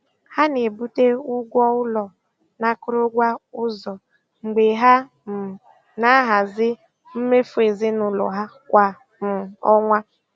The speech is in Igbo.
um Ha na-ebute ụgwọ ụlọ na akụrụngwa ụzọ mgbe ha um na-ahazi mmefu ezinụlọ ha kwa um ọnwa.